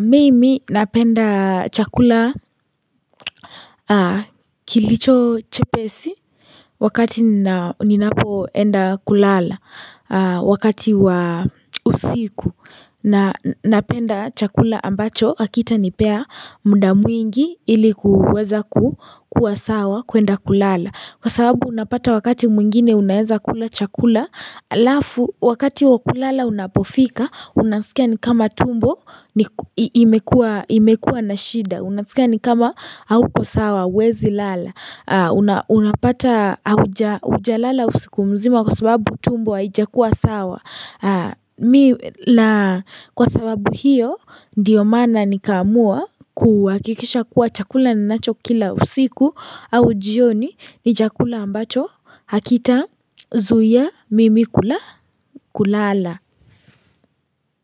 mimi napenda chakula kilicho chepesi Wakati nina ninapoenda kulala wakati wa usiku na napenda chakula ambacho hakitanipea mda mwingi ili kuweza kukua sawa kuenda kulala Kwa sababu unapata wakati mwingine unaeza kula chakula halafu wakati wakulala unapofika Unasikia ni kama tumbo ni ku imekua imekua na shida Unasikia ni kama hauko sawa huwezi lala Unapata hauja hujalala usiku mzima kwa sababu tumbo hiajakuwa sawa Kwa sababu hiyo ndiyo mana nikaamua kuhakikisha kuwa chakula ninachokila usiku au jioni ni chakula ambacho hakitazuia mimi kula kulala.